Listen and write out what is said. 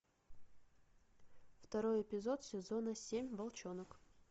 второй эпизод сезона семь волчонок